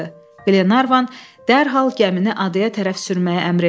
Qlenarvan dərhal gəmini adaya tərəf sürməyə əmr etdi.